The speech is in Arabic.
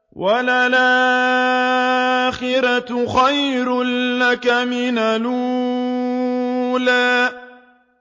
وَلَلْآخِرَةُ خَيْرٌ لَّكَ مِنَ الْأُولَىٰ